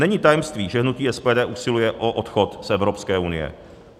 Není tajemství, že hnutí SPD usiluje o odchod z Evropské unie.